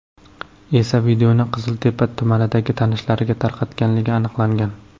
esa videoni Qiziltepa tumanidagi tanishlariga tarqatganligi aniqlangan.